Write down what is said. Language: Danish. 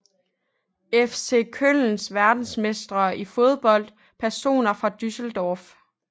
FC Köln Verdensmestre i fodbold Personer fra Düsseldorf